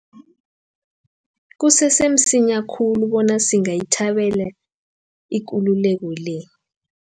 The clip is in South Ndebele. Kusese msinya khulu bona singayithabela ikululeko le.